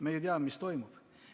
Me teame, mis toimub.